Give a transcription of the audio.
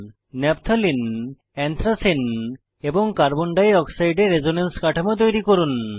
naphthalene anthracene এবং carbon ডাই অক্সাইডের রেসোনেন্সের কাঠামো তৈরী করুন